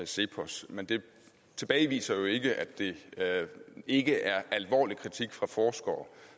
cepos men det tilbageviser jo ikke at det ikke er alvorlig kritik fra forskere